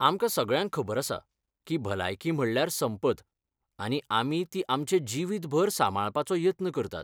आमकां सगळ्यांक खबर आसा की भलायकी म्हणल्यार संपत, आनी आमी ती आमचे जिवीतभर सांबाळपाचो यत्न करतात.